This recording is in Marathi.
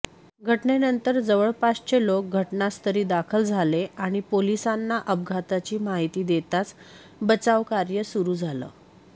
घटनेनंतर जवळपासचे लोक घटनास्थळी दाखल झाले आणि पोलिसांना अपघाताची माहिती देताच बचावरकार्य सुरू झालं